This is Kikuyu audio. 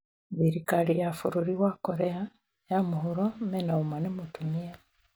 Thirikari ya bũrũri Korea ya mũhuro mena ũma nĩ mũtumia